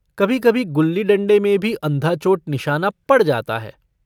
कभी-कभी गुल्ली-डण्डे में भी अन्धा-चोट निशाना पड़ जाता है।